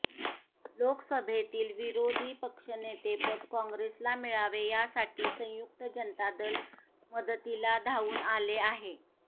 लोकसभेतील विरोधी पक्षनेतेपद काँग्रेसला मिळावे यासाठी संयुक्त जनता दल मदतीला धावून आले आहे